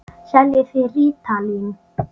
Seljið þið rítalín?